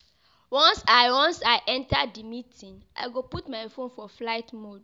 Once I Once I enta di meeting, I go put my fone for flight mode.